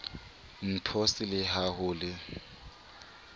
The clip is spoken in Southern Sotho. npos le ha ho le